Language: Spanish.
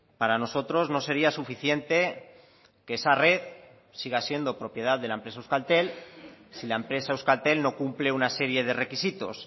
para nosotros no sería suficiente que esa red siga siendo propiedad de la empresa euskaltel si la empresa euskaltel no cumple una serie de requisitos